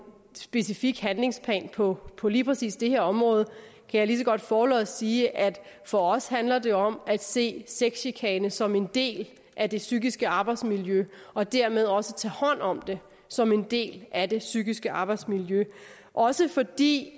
specifik handlingsplan på på lige præcis det her område kan jeg lige så godt forlods sige at for os handler det om at se sexchikane som en del af det psykiske arbejdsmiljø og dermed også tage hånd om det som en del af det psykiske arbejdsmiljø også fordi